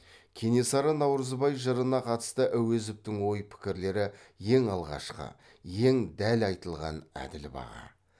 кенесары наурызбай жырына қатысты әуезовтің ой пікірлері ең алғашқы ең дәл айтылған әділ баға